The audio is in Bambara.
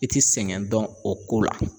I ti sɛgɛn dɔn o ko la.